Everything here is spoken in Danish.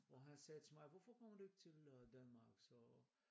Og han sagde til mig hvorfor kommer du ikke til øh Danmark så øh